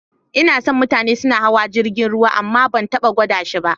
N'na son ganin mutane suna hawan jirigin ruwa amma ban taba gwada shi ba.